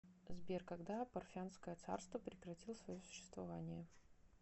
сбер когда парфянское царство прекратил свое существование